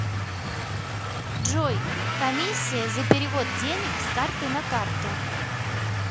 джой комиссия за перевод денег с карты на карту